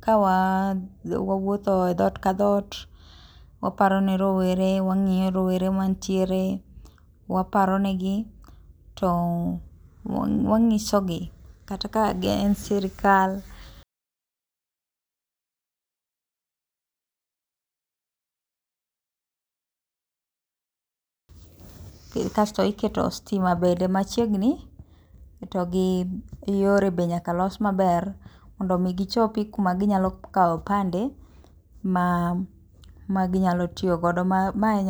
kawawuotho e dhootv ka dhoot, waparo ne rowere, wang'iyo rowere mantiere , waparo negi to wanyisogi kata ka en sirkal, kasto iketo sitima bende machiegni to gi yore bende nyaka los maber mondo mi gichopi kuma ginyalo kawe opande maginyalo tiyo godo. Mae